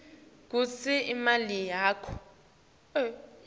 kunobe ngumuphi umkhakha